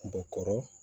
Bɛ kɔrɔ